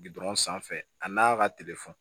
Gdɔrɔn sanfɛ a n'a ka telefɔni